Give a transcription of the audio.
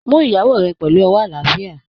Mú ìyàwó rẹ pẹlú ọwọ́ àlàáfíà!